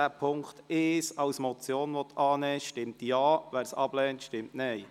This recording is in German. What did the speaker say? Wer Punkt 1 als Motion annehmen will, stimmt Ja, wird dies ablehnt, stimmt Nein.